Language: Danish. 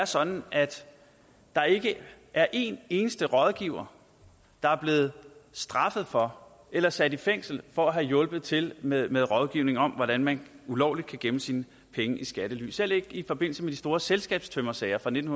sådan at der ikke er en eneste rådgiver der er blevet straffet for eller sat i fængsel for at have hjulpet til med med rådgivning om hvordan man ulovligt kan gemme sine penge i skattely selv ikke i forbindelse med de store selskabstømmersager fra nitten